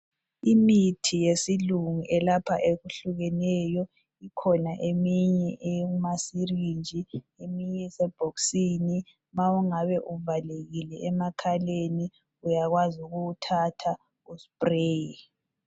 Imithi yesilungu elapha eyehlukeneyo kukhona eminye eyamasirinji eminye esebhoksini ma ungabe uvalekile emakhaleni uyakwazi ukuwuthatha uspreye.